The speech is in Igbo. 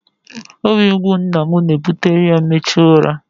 Obi mgbu nna m na-ebutere ya mmechu ụra.